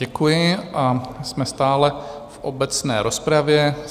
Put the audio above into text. Děkuji a jsme stále v obecné rozpravě.